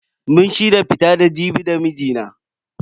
Mun shirya fita da Jibi da mijina.